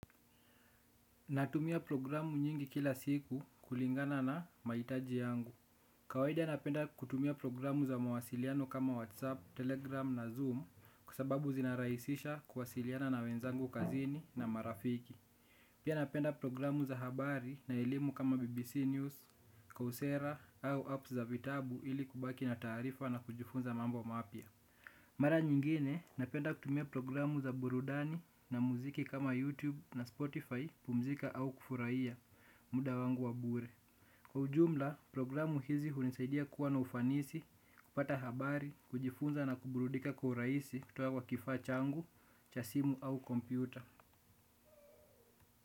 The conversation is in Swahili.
Natumia programu nyingi kila siku kulingana na mahitaji yangu. Kawaida napenda kutumia programu za mawasiliano kama WhatsApp, Telegram na Zoom kwa sababu zinarahisisha kuwasiliana na wenzangu kazini na marafiki. Pia napenda programu za habari na elimu kama BBC News, coursera au apps za vitabu ili kubaki na taarifa na kujifunza mambo mapya. Mara nyingine napenda kutumia programu za burudani na muziki kama YouTube na Spotify kupumzika au kufurahia muda wangu wa bure. Kwa ujumla programu hizi hunisaidia kuwa na ufanisi, kupata habari, kujifunza na kuburudika kuhuraisi kutuwa kwa kifaa changu, cha simu au kompyuta.